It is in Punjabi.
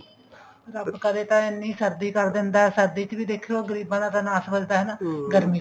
ਰੱਬ ਕਰੇ ਤਾਂ ਇੰਨੀ ਸਰਦੀ ਕਰ ਦਿੰਦਾ ਸਰਦੀ ਚ ਵੀ ਦੇਖਿਓ ਗਰੀਬਾਂ ਦਾ ਨਾਸ ਵੱਜਦਾ ਹਨਾ ਗਰਮੀ ਚ ਵੀ